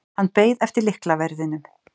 Hann beið eftir lyklaverðinum.